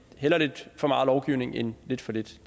lidt for meget lovgivning end lidt for lidt